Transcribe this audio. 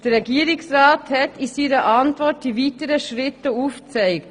Der Regierungsrat hat die weiteren Schritte aufgezeigt.